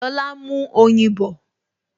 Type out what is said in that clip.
Lọlá n mú oyin bọ̀